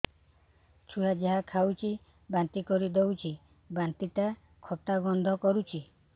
ଛୁଆ ଯାହା ଖାଉଛି ବାନ୍ତି କରିଦଉଛି ବାନ୍ତି ଟା ଖଟା ଗନ୍ଧ କରୁଛି